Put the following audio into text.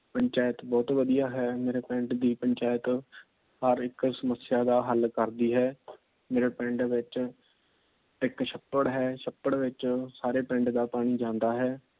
ਪੰਚਾਇਤ ਬਹੁਤ ਵਧੀਆ ਹੈ। ਮੇਰੇ ਪਿੰਡ ਦੀ ਪੰਚਾਇਤ ਹਰ ਇੱਕ ਸਮੱਸਿਆ ਦਾ ਹੱਲ ਕਰਦੀ ਹੈ। ਮੇਰੇ ਪਿੰਡ ਦੇ ਵਿੱਚ ਇੱਕ ਛੱਪੜ ਹੈ ਛੱਪੜ ਵਿੱਚ ਸਾਰੇ ਪਿੰਡ ਦਾ ਪਾਣੀ ਜਾਂਦਾ ਹੈ।